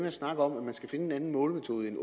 at snakke om at man skal finde en anden målemetode end